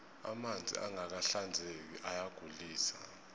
amanzi angaka hinzeki ayagulise